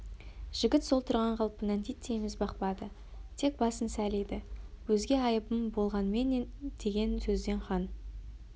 жігіт сол тұрған қалпынан титтей міз бақпады тек басын сәл иді өзге айыбым болғанменендеген сөзден хан